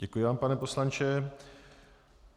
Děkuji vám, pane poslanče.